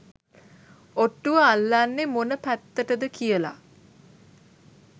ඔට්ටුව අල්ලන්නෙ මොන පැත්තටද කියල